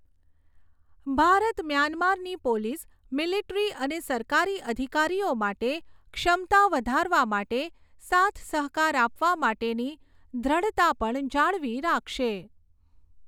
ભારત મ્યાન્મારની police, military અને સરકારી અધિકારીઓ માટે ક્ષમતા વધારવા માટે સાથસહકાર આપવા માટેની દૃઢતા પણ જાળવી રાખશે.